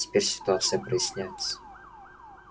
теперь ситуация проясняется